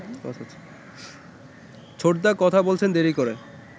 ছোটদা কথা বলেছেন দেরি করে